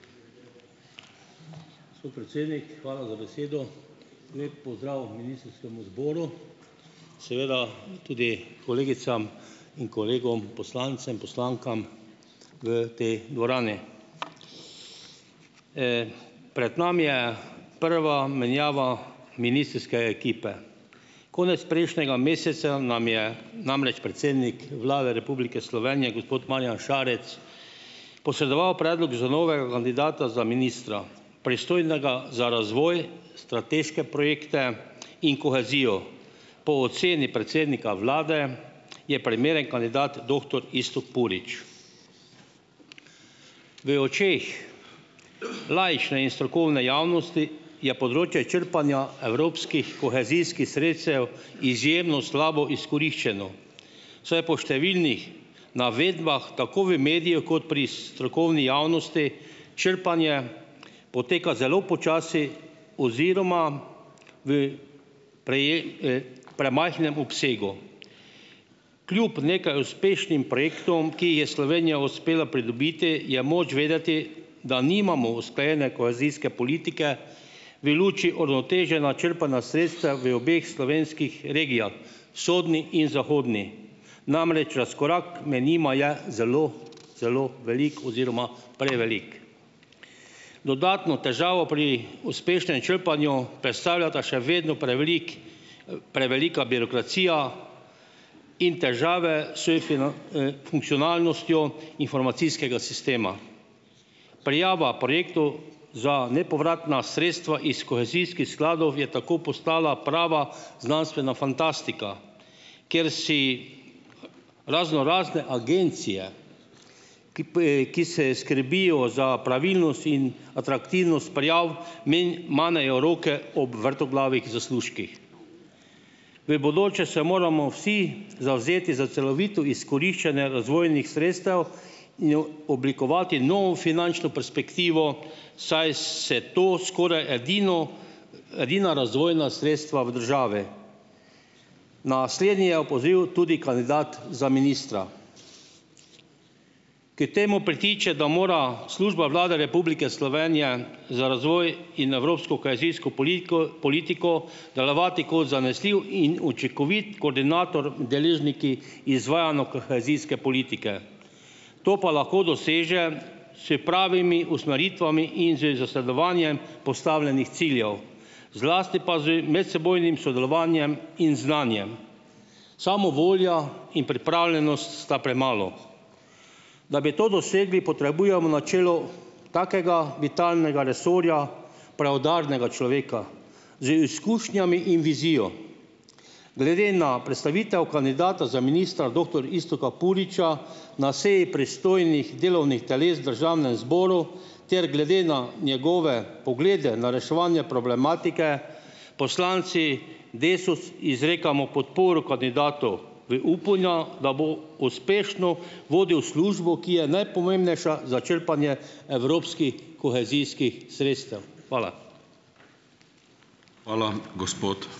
Gospod predsednik, hvala za besedo. Lep pozdrav ministrskemu zboru, seveda tudi kolegicam in kolegom poslancem, poslankam v tej dvorani! Pred nami je prva menjava ministrske ekipe. Konec prejšnjega meseca nam je namreč predsednik Vlade Republike Slovenije, gospod Marjan Šarec, posredoval predlog za novega kandidata za ministra, pristojnega za razvoj, strateške projekte in kohezijo. Po oceni predsednika vlade je primeren kandidat doktor Iztok Purič. V očeh laične in strokovne javnosti je področje črpanja evropskih kohezijskih sredstev izjemno slabo izkoriščeno, saj po številnih navedbah tako v mediju kot pri strokovni javnosti črpanje poteka zelo počasi oziroma v premajhnem obsegu. Kljub nekaj uspešnim projektom, ki jih je Slovenija uspela pridobiti, je moč vedeti, da nimamo usklajene kohezijske politike v luči uravnoteženega črpanja sredstev v obeh slovenskih regijah, vzhodni in zahodni. Namreč razkorak med njima je zelo zelo velik oziroma prevelik. Dodatno težavo pri uspešnem črpanju predstavljata še vedno prevelik, prevelika birokracija in težave funkcionalnostjo informacijskega sistema. Prijava projektov za nepovratna sredstva iz kohezijskih skladov je tako postala prava znanstvena fantastika, kjer si raznorazne agencije, ki ki se skrbijo za pravilnost in atraktivnost prijav, manejo roke ob vrtoglavih zaslužkih. V bodoče se moramo vsi zavzeti za celovito izkoriščanje razvojnih sredstev in oblikovati novo finančno perspektivo, saj se to skoraj edino, edina razvojna sredstva v državi. Na slednje je opozoril tudi kandidat za ministra. K temu pritiče, da mora Služba Vlade Republike Slovenije za razvoj in evropsko kohezijsko politiko, politiko delovati kot zanesljiv in učinkovit koordinator deležniki izvajanj o kohezijske politike. To pa lahko doseže s pravimi usmeritvami in z zasledovanjem postavljenih ciljev, zlasti pa z medsebojnim sodelovanjem in znanjem. Samo volja in pripravljenost sta premalo. Da bi to dosegli, potrebujemo načelo takega vitalnega resorja, preudarnega človeka z izkušnjami in vizijo. Glede na predstavitev kandidata za ministra doktor Iztoka Puriča na seji pristojnih delovnih teles v državnem zboru ter glede na njegove poglede na reševanje problematike poslanci Desus izrekamo podporo kandidatu v upanju, da bo uspešno vodil službo, ki je najpomembnejša za črpanje evropskih kohezijskih sredstev. Hvala.